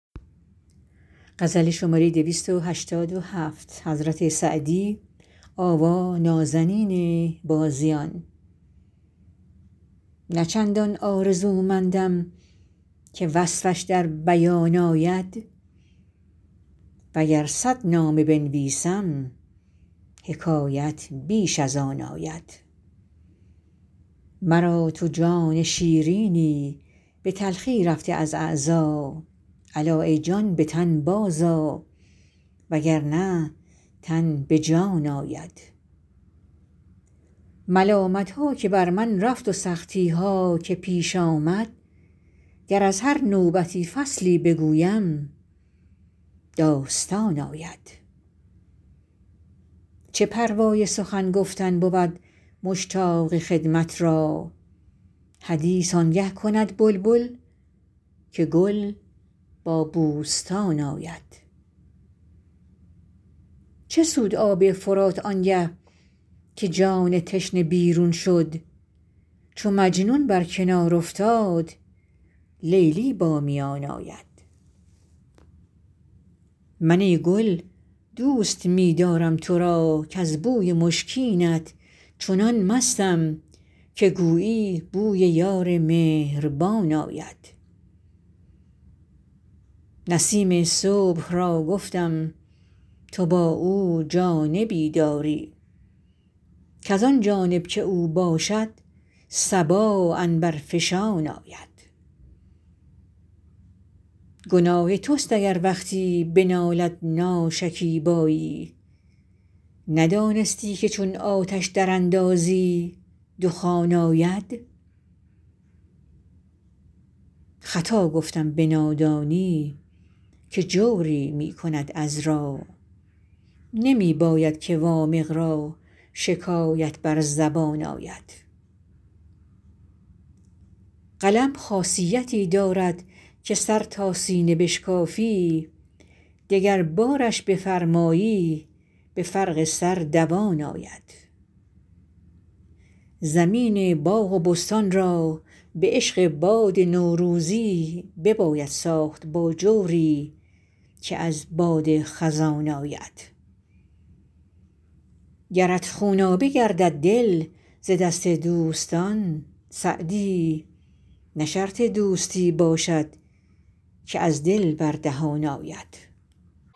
نه چندان آرزومندم که وصفش در بیان آید و گر صد نامه بنویسم حکایت بیش از آن آید مرا تو جان شیرینی به تلخی رفته از اعضا الا ای جان به تن بازآ و گر نه تن به جان آید ملامت ها که بر من رفت و سختی ها که پیش آمد گر از هر نوبتی فصلی بگویم داستان آید چه پروای سخن گفتن بود مشتاق خدمت را حدیث آن گه کند بلبل که گل با بوستان آید چه سود آب فرات آن گه که جان تشنه بیرون شد چو مجنون بر کنار افتاد لیلی با میان آید من ای گل دوست می دارم تو را کز بوی مشکینت چنان مستم که گویی بوی یار مهربان آید نسیم صبح را گفتم تو با او جانبی داری کز آن جانب که او باشد صبا عنبرفشان آید گناه توست اگر وقتی بنالد ناشکیبایی ندانستی که چون آتش دراندازی دخان آید خطا گفتم به نادانی که جوری می کند عذرا نمی باید که وامق را شکایت بر زبان آید قلم خاصیتی دارد که سر تا سینه بشکافی دگربارش بفرمایی به فرق سر دوان آید زمین باغ و بستان را به عشق باد نوروزی بباید ساخت با جوری که از باد خزان آید گرت خونابه گردد دل ز دست دوستان سعدی نه شرط دوستی باشد که از دل بر دهان آید